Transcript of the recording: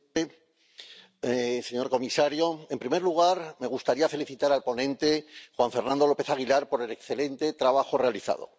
Señor presidente, señor comisario, en primer lugar, me gustaría felicitar al ponente Juan Fernando López Aguilar por el excelente trabajo realizado.